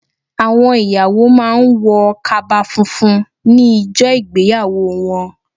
Àwọn ìyàwó má a ń wọ kaba funfun ní ijọ́ ìgbéyàwó wọn